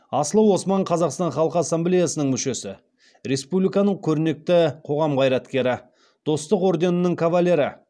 асылы осман қазақстан халқы ассамблеясының мүшесі республиканың көрнекті қоғам қайраткері достық орденінің кавалері